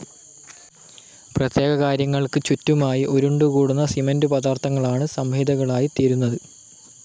പ്രത്യേക കാര്യങ്ങൾക്കു ചുറ്റുമായി ഉരുണ്ടുകൂടുന്ന സിമൻ്റു പദാർഥങ്ങളാണ് സംഹതികളായിത്തീരുന്നത്.